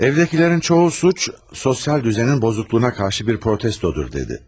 Evdəkilərin çoxu cinayət sosial nizamın pozulmasına qarşı bir etirazdır dedi.